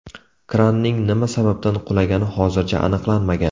Kranning nima sababdan qulagani hozircha aniqlanmagan.